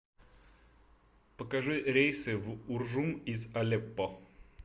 покажи рейсы в уржум из алеппо